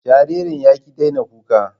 Jaririn ya ƙi daina kuka